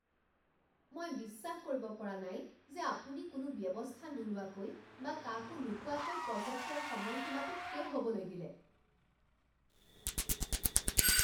মই বিশ্বাস কৰিব পৰা নাই যে আপুনি কোনো ব্যৱস্থা নোলোৱাকৈ বা কাকো নোকোৱাকৈ প্ৰজেক্টৰ সময়সীমাটো শেষ হ'বলৈ দিলে।